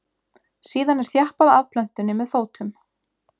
síðan er þjappað að plöntunni með fótum